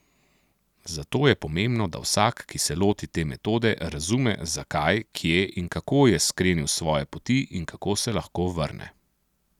Zato je pomembno, da vsak, ki se loti te metode, razume, zakaj, kje in kako je skrenil s svoje poti in kako se lahko vrne.